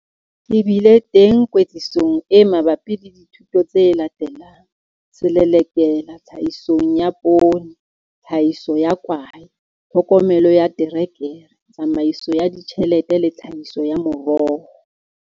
Ke bile teng kwetlisong e mabapi le dithuto tse latelang- Selelekela Tlhahisong ya Poone, Tlhahiso ya Kwae, Tlhokomelo ya Terekere, Tsamaiso ya Ditjhelete le Tlhahiso ya Meroho.